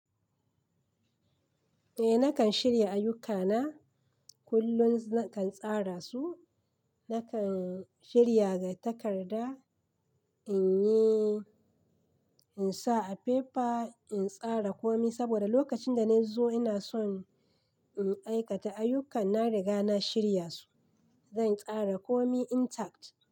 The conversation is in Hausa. Eh nakan shirya ayyukana kullum nakan tsara su, nakan shirya ga takarda in yi, in sa a fefa in tsara komai saboda lokacin da na zo ina son in aikata ayyukan na riga na shirya su. Zan tsara komai intact.